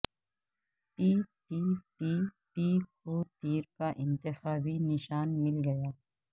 پی P P P کو تیر کا انتخابی نشان مل گیا